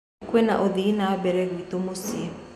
Kwĩna ũthii na mbere gwitũ mũcĩĩ.